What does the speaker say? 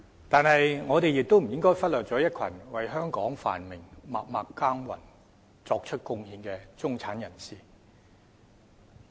但是，我們亦不應忽略一群為香港繁榮默默耕耘，作出貢獻的中產人士。